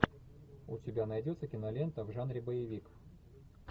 у тебя найдется кинолента в жанре боевик